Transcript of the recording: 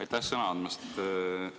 Aitäh sõna andmast!